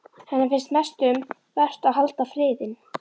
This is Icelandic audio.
Henni finnst mest um vert að halda friðinn.